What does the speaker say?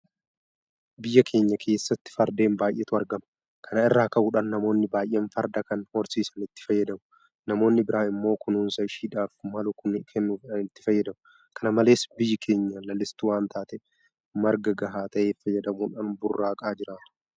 Biyya keenya keessatti Fardeen baay'eetu argama. Kana irraa ka'uudhaan namoonni baay'een Farda kana horsiisanii itti fayyadamu. Namoonni biraa immoo kunuunsa isheedhaaf malu kennuufiidhaan itti fayyadamu. Kana malees biyyi keenya lalistuu wanta taateef marga gahaa ta'e fayyadamuudhan burraaqaa jiraatu.